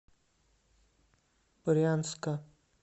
брянска